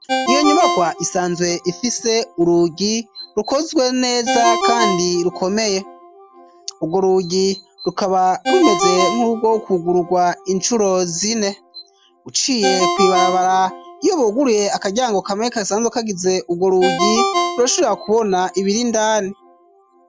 iyo nyubakwa isanzwe ifise urugi rukozwe neza kandi rukomeye urwo rugi rukaba rumeze nk'urwo kugururwa inshuro zine uciye ku ibarabara iyo buguruye akaryango kamwe kasanzwe kagize ubwo rugi rurashobora kubona ibiri indani.